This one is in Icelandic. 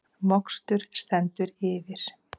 Mokstur stendur yfir